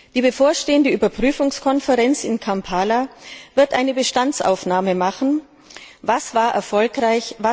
Die bevorstehende Überprüfungskonferenz in Kampala wird eine Bestandsaufnahme machen Was war erfolgreich?